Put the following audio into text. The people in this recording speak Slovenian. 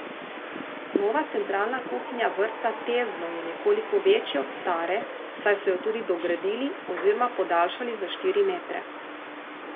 Nova centralna kuhinja Vrtca Tezno je nekoliko večja od stare, saj so jo tudi dogradili oziroma podaljšali za štiri metre.